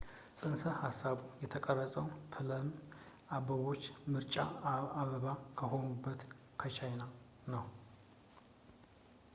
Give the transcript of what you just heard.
ጽንሰ-ሃሳቡ የተቀረፀው ፕለም አበባዎች የምርጫ አበባ ከሆኑበት ከቻይና ነው